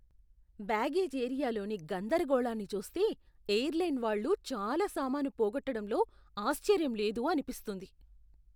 Baggage ఏరియాలోని గందరగోళాన్ని చూస్తే, ఎయిర్లైన్ వాళ్ళు చాలా సామాను పోగొట్డడంలో ఆశ్చర్యం లేదు అనిపిస్తుంది.